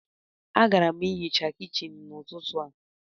Agara m ihicha kichin n'ụtụtụ a.